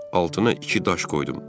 Altına iki daş qoydum.